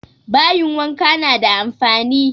Bayin wanka na da amfani